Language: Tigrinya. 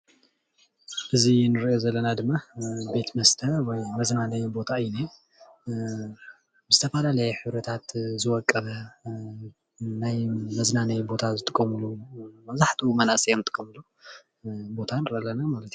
እዚ እንሪኦ ዘለና ድማ ቤት መስተ ወይ መዝናነይ ቦታ እዩ ዝንአ ዝተፈላለየ ሕብርታት ዝወቀበ ናይ መዝናነይ ቦታ ዝጥቀምሉ መብዛሕትኡ መናእሰይ እዮም ዝጥቀምሉ ቦታ ንሪኢ ኣለና ማለት እዩ፡፡